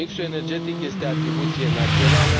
Mixul energetic este atribuție națională.